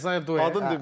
Vizar Duet.